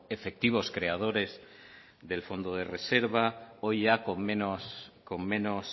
efectivos creadores del fondo de reserva hoy ya con menos